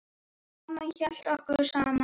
Amma hélt okkur saman.